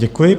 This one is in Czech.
Děkuji.